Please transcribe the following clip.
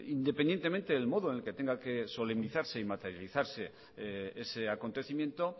independientemente el modo en el que tenga que solemnizarse y materializarse ese acontecimiento